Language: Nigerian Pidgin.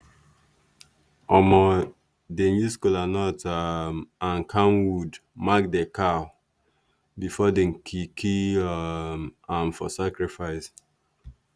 um dem use kolanut um and camwood mark the cow before dem kill kill um am for sacrifice.